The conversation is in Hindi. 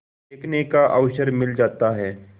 देखने का अवसर मिल जाता है